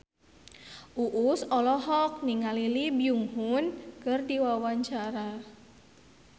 Uus olohok ningali Lee Byung Hun keur diwawancara